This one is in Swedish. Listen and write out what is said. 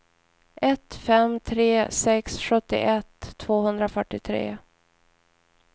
ett fem tre sex sjuttioett tvåhundrafyrtiotre